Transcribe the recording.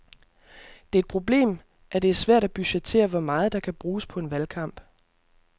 Det er et problem, at det er svært at budgettere hvor meget der kan bruges på en valgkamp.